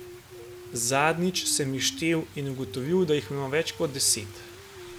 Zadnjič sem jih štel in ugotovil, da jih imam več kot deset.